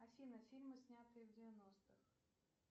афина фильмы снятые в девяностых